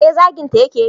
eh zaginta ya ke yi